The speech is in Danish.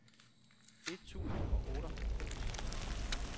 et tusind og otteoghalvfems